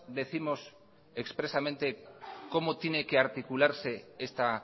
décimos expresamente cómo tiene que articularse esta